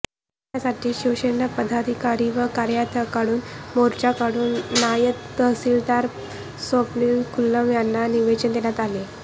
यासाठी शिवसेना पदाधिकारी व कार्यकत्यांकडुन मोर्चा काढुन नायब तहसीलदार स्वप्नील खुल्लम यांना निवेदन देण्यात आले